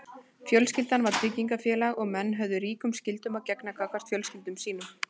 fjölskyldan var tryggingafélag og menn höfðu ríkum skyldum að gegna gagnvart fjölskyldum sínum